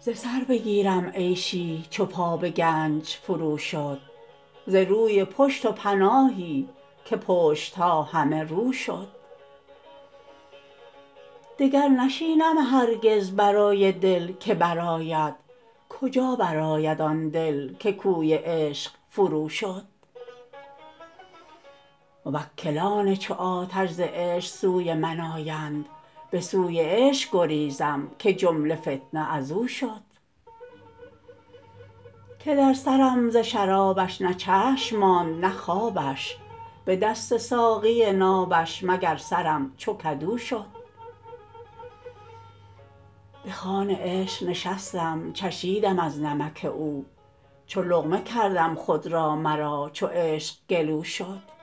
ز سر بگیرم عیشی چو پا به گنج فروشد ز روی پشت و پناهی که پشت ها همه رو شد دگر نشینم هرگز برای دل که برآید کجا برآید آن دل که کوی عشق فروشد موکلان چو آتش ز عشق سوی من آیند به سوی عشق گریزم که جمله فتنه از او شد که در سرم ز شرابش نه چشم ماند نه خوابش به دست ساقی نابش مگر سرم چو کدو شد به خوان عشق نشستم چشیدم از نمک او چو لقمه کردم خود را مرا چو عشق گلو شد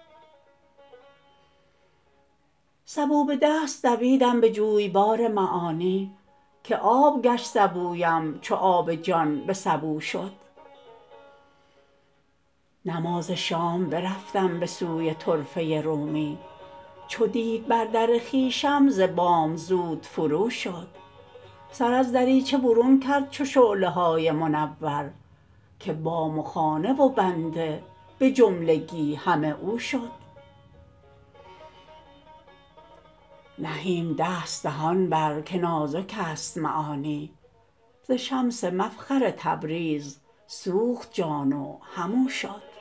سبو به دست دویدم به جویبار معانی که آب گشت سبویم چو آب جان به سبو شد نماز شام برفتم به سوی طرفه رومی چو دید بر در خویشم ز بام زود فروشد سر از دریچه برون کرد چو شعله های منور که بام و خانه و بنده به جملگی همه او شد نهیم دست دهان بر که نازکست معانی ز شمس مفخر تبریز سوخت جان و همو شد